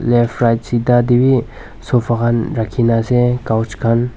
Left right sita tey bi sofa khan rakhina ase coach khan.